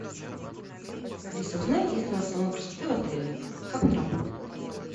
алиса узнай есть ли у нас салон красоты в отеле как он работает